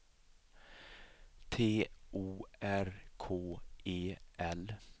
T O R K E L